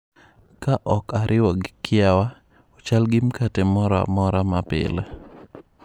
Ka ok ariwo gi kiawa, ochal gi mkate moro amora ma pile.